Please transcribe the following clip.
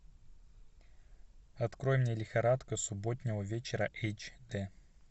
открой мне лихорадка субботнего вечера эйч дэ